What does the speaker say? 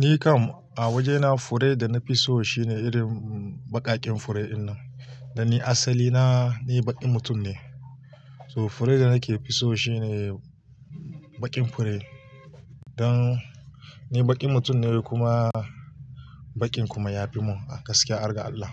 Ni kam a wajena fure da na fi so shine irin baƙaƙen fure dinnan. Dan ni asali na ni baƙin mutum ne. So fure da nake fi so shine baƙin fure. Dan ni baƙin mutum ne kuma baƙin kuma ya fi mun a gaskiya, argar Allah.